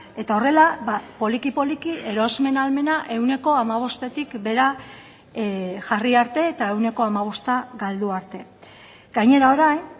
eta horrela poliki poliki erosmen ahalmena ehuneko hamabostetik behera jarri arte eta ehuneko hamabosta galdu arte gainera orain